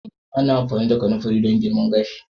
Ana amfani da kananfari don girma gashi.